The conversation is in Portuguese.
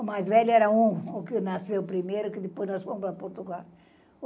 O mais velho era um, o que nasceu primeiro, que depois nós fomos para Portugal.